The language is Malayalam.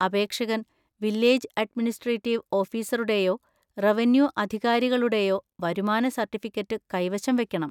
അപേക്ഷകൻ വില്ലേജ് അഡ്മിനിസ്‌ട്രേറ്റീവ് ഓഫീസറുടെയോ റവന്യൂ അധികാരികളുടെയോ വരുമാന സർട്ടിഫിക്കറ്റ് കൈവശം വയ്ക്കണം.